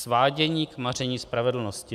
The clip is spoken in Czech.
Svádění k maření spravedlnosti.